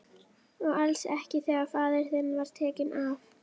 Og kommarnir líka? spurði hann borubrattur.